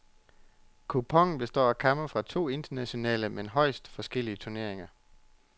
Kuponen består af kampe fra to internationale, men højst forskellige turneringer.